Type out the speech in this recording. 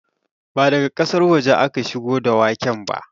Ba daga ƙasar waje aka shigo da waken ba